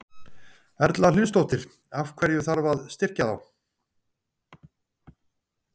Erla Hlynsdóttir: Af hverju þarf að styrkja þá?